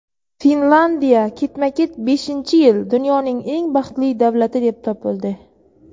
Finlandiya ketma-ket beshinchi yil dunyoning eng baxtli davlati deb topildi.